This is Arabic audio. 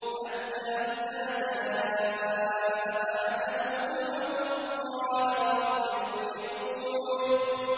حَتَّىٰ إِذَا جَاءَ أَحَدَهُمُ الْمَوْتُ قَالَ رَبِّ ارْجِعُونِ